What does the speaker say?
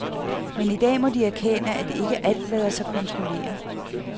Men i dag må de erkende, at ikke alt lader sig kontrollere.